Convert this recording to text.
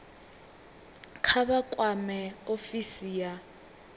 kha vha kwame ofisi ya